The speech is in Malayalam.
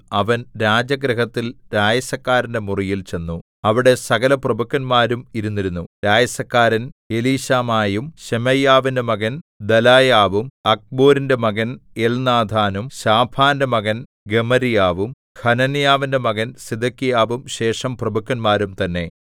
അവൻ രാജഗൃഹത്തിൽ രായസക്കാരന്റെ മുറിയിൽ ചെന്നു അവിടെ സകലപ്രഭുക്കന്മാരും ഇരുന്നിരുന്നു രായസക്കാരൻ എലീശാമായും ശെമയ്യാവിന്റെ മകൻ ദെലായാവും അഖ്ബോരിന്റെ മകൻ എൽനാഥാനും ശാഫാന്റെ മകൻ ഗെമര്യാവും ഹനന്യാവിന്റെ മകൻ സിദെക്കീയാവും ശേഷം പ്രഭുക്കന്മാരും തന്നെ